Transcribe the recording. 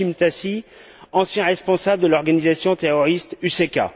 Hashim Thaçi, ancien responsable de l'organisation terroriste UCK.